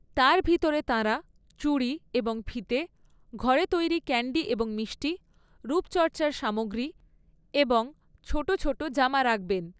তার ভিতরে তাঁরা চুড়ি এবং ফিতে, ঘরে তৈরি ক্যাণ্ডি এবং মিষ্টি, রূপচর্চার সামগ্রী এবং ছোট ছোট জামা রাখবেন।